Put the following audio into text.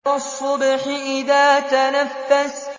وَالصُّبْحِ إِذَا تَنَفَّسَ